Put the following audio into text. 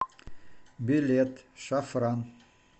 билет шафран